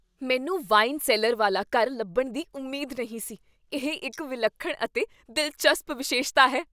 ਮੈਨੂੰ wine cellar ਵਾਲਾ ਘਰ ਲੱਭਣ ਦੀ ਉਮੀਦ ਨਹੀਂ ਸੀ ਇਹ ਇੱਕ ਵਿਲੱਖਣ ਅਤੇ ਦਿਲਚਸਪ ਵਿਸ਼ੇਸ਼ਤਾ ਹੈ